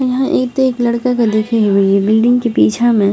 यहाँ एक ते एक लड़का के देखे हेवे जे बिल्डिंग के पीछा में --